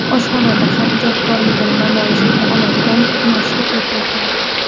Oshxonada ham ijodkorligini namoyish eta oladigan mashhur erkaklar .